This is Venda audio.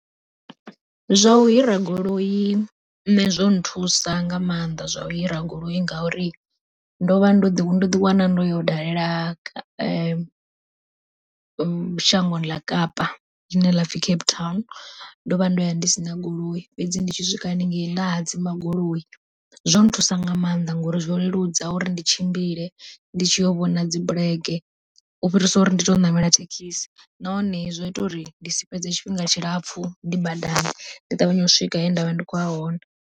Zwa u hira goloi nṋe zwo nthusa nga maanḓa zwa u hira goloi, ngauri ndo vha ndo, ndo ḓi wana ndo yo dalela shangoni ḽa kapa ḽine lapfhi Cape Town ndo vha ndo ya ndi sina goloi. Fhedzi ndi tshi swika haningei nda hadzima goloi, zwo thusa nga maanḓa ngori zwo leludza uri ndi tshimbile ndi tshiyo vhona dzibulege, u fhirisa uri ndi tou ṋamela thekhisi nahone zwa ita uri ndi si fhedze tshifhinga tshilapfhu ndi badani ndi ṱavhanye u swika he ndavha ndi khoya hone.